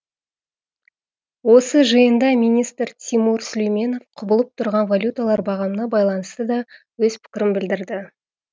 осы жиында министр тимур сүлейменов құбылып тұрған валюталар бағамына байланысты да өз пікірін білдірді